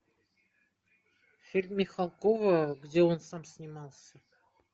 фильм михалкова где он сам снимался